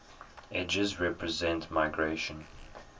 edges represent migration